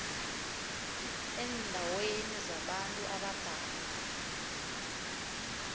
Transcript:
eendaweni zabantu abadala